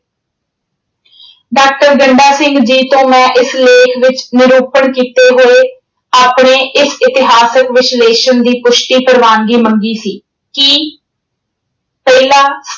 doctor Ganda Singh ji ਤੋਂ ਮੈਂ ਇਸ ਲੇਖ ਵਿੱਚ ਨਿਰੂਪਣ ਕੀਤੇ ਹੋਏ ਆਪਣੇ ਇਸ ਇਤਹਾਸਿਕ ਵਿਸਲੇਸ਼ਣ ਦੀ ਪੁਸ਼ਟੀ ਪ੍ਰਵਾਨਗੀ ਮੰਗੀ ਸੀ ਕੀ ਪਹਿਲਾਂ